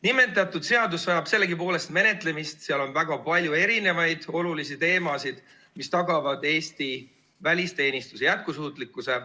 Nimetatud seadus vajab sellegipoolest menetlemist, seal on väga palju erinevaid olulisi teemasid, mis tagavad Eesti välisteenistuse jätkusuutlikkuse.